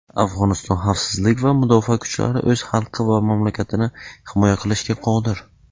Afg‘oniston xavfsizlik va mudofaa kuchlari "o‘z xalqi va mamlakatini himoya qilishga qodir.".